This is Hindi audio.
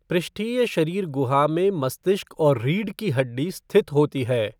पृष्ठीय शरीर गुहा में मस्तिष्क और रीढ़ की हड्डी स्थित होती है।